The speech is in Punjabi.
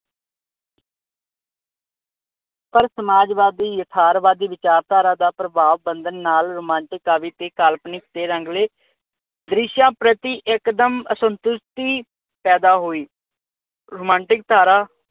ਪਰ ਸਮਾਜਵਾਦੀ, ਯਥਾਰਵਾਦੀ ਵਿਚਾਰਧਾਰਾ ਦਾ ਪ੍ਰਭਾਵ ਬੰਧਣ ਨਾਲ ਰੋਮਾਂਟਿਕ, ਕਾਵੀ ਕਾਲਪਨਿਕ ਤੇ ਰੰਗਲੇ ਦ੍ਰਿਸ਼ਾਂ ਪ੍ਰਤੀ ਇੱਕ ਦਮ ਅਸੰਤੁਸ਼ਟੀ ਪੈਦਾ ਹੋਈ। ਰੋਮਾਂਟਿਕ ਧਾਰਾ